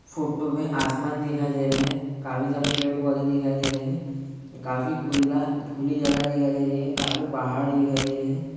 Photo में आसमान दिखाई दे रहा है। काफी सारे पेड़-पौधे दिखाई दे रहे हैं। काफी खुला खुली जगह दिखाई दे रही है काफी पहाड़ दिखाई दे रहे हैं।